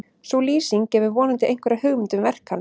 sú lýsing gefur vonandi einhverja hugmynd um verk hans